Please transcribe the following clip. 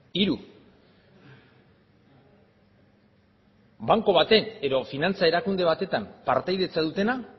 hiru banku baten edo finantza erakunde batetan partaidetza dutenak